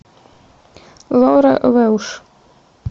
лаура велш